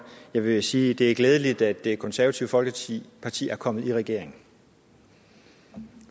jeg vil sige at det er glædeligt at det konservative folkeparti er kommet i regering